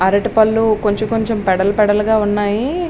అరటి పళ్ళు కొంచెం కొంచెం పెడలు పెడలుగా ఉన్నాయి.